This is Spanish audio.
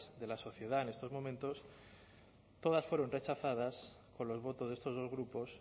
de la sociedad en estos momentos todas fueron rechazadas con los votos de estos dos grupos